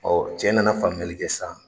cɛ na na faamuyali kɛ san